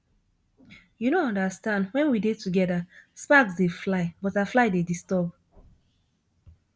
you no understand wen we dey together sparks dey fly butterfly dey disturb